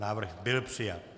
Návrh byl přijat.